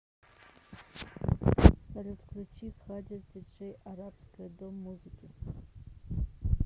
салют включи хадис диджей арабская дом музыки